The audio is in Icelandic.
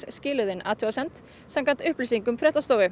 skiluðu inn athugasemdum samkvæmt upplýsingum fréttastofu